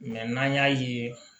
n'an y'a ye